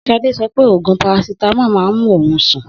Sade so pé òògùn parasitamọ má n mú ohun sún.